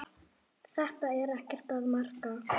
Þetta er ekkert að marka.